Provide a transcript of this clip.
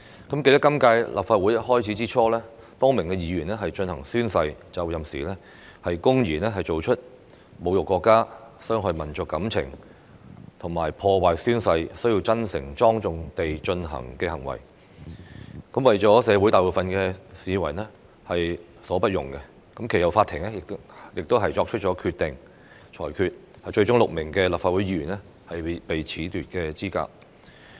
我記得今屆立法會開始之初，多名議員在進行宣誓就任時，公然作出侮辱國家、傷害民族感情和阻礙宣誓真誠、莊重地進行的行為，為社會大部分市民所不容，其後法庭亦作出裁決，最終6名立法會議員被褫奪資格。